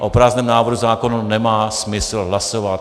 A o prázdném návrhu zákona nemá smysl hlasovat.